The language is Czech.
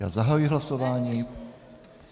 Já zahajuji hlasování...